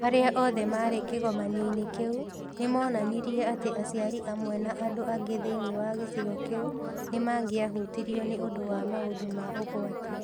Arĩa othe maarĩ kĩgomano-inĩ kĩu nĩ moonanirie atĩ aciari amwe na andũ angĩ thĩinĩ wa gĩcigo kĩu nĩ mangĩahutirio nĩ ũndũ wa maũndũ ma ũgwati.